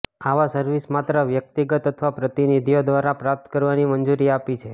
આવા સર્વિસ માત્ર વ્યક્તિગત અથવા પ્રતિનિધિઓ દ્વારા પ્રાપ્ત કરવાની મંજૂરી આપી છે